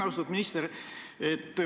Austatud minister!